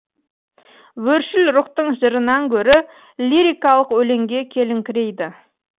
өршіл рухтың жырынан гөрі лирикалық өлеңге келіңкірейді